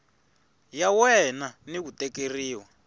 ya wena ni ku tekeriwa